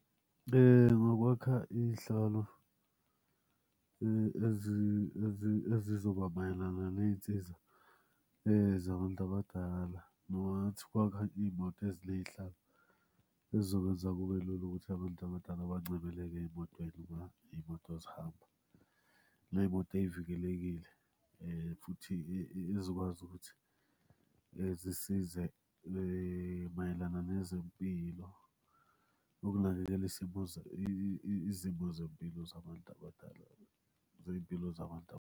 Ngokwakha iy'hlalo ezizoba mayelana ney'nsiza zabantu abadala, noma ngathi ukwakha iy'moto eziney'hlalo ey'zokwenza kube lula ukuthi abantu abadala bancebeleke ey'motweni uma iy'moto zihamba. Ney'moto ey'vikelekile futhi ey'zokwazi ukuthi zisize mayelana nezempilo, ukunakekela isimo izimo zempilo zabantu abadala, zey'mpilo zabantu.